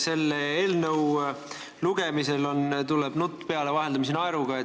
Selle eelnõu lugemisel tuleb nutt vaheldumisi naeruga peale.